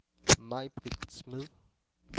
Maibritt Smed